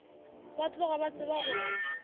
ba tloga ba tseba gore